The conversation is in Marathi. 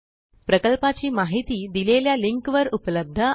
प्रकल्पाची माहिती देलेल्या लिंक वर उपलब्ध आहे